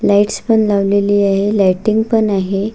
Lights पण लावलेली आहे लायटिंग पण आहे.